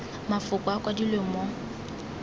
mafoko a a kwadilweng mo